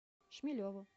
шмелеву